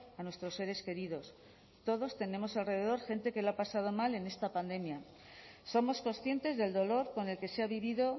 a nuestros seres queridos todos tenemos alrededor gente que lo ha pasado mal en esta pandemia somos conscientes del dolor con el que se ha vivido